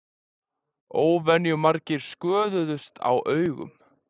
Óvenjumargir sköðuðust á augum